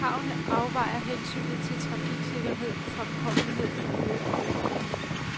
Kravene afvejer hensynet til trafiksikkerhed, fremkommelighed, miljø og økonomi.